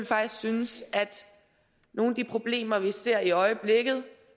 faktisk synes at nogle af de problemer vi ser i øjeblikket